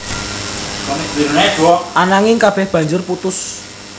Ananging kabéh banjur putus